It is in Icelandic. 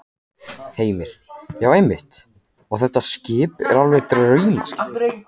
Heimir: Já, einmitt og þetta skip er alveg draumaskip?